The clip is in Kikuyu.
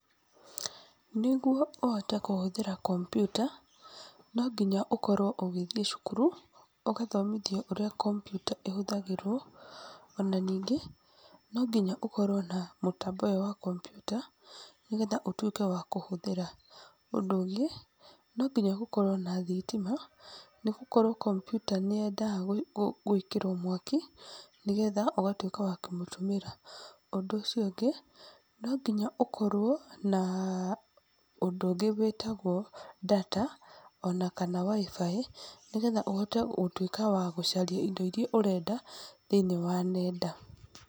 Nĩguo ũhote kũhũthĩra kompyuta, no nginya ũkorwo ũgĩthiĩ cukuru, ũgathomithio ũrĩa kompyuta ihũthagĩrwo, ona nyingĩ, no nginya ũkorwo na mũtambo ũyũ wa kompyuta nĩguo ũkorwo ũkĩhota gũtuika wa kũhũthĩra. Ũndũ ũngĩ, no nginya gũkorwo na thitima, nĩgũkorwo kompyuta nĩyendaga gwĩkĩrwo mwaki, nĩgetha ũgatuĩka wa kũmĩtũmĩra. ũndũ ũcio ũngĩ, no ngonya ũkorwo na ũndũ ũngĩ wĩtagwo data ona kana wifi nĩgetha ũhote gũcaria indo iia ũrenda thĩiniĩ wa nenda.